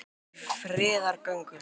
Margir í friðargöngu